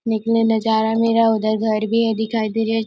निकने नजारा मेरा उधर घर भी है दिखाई दे रहा है।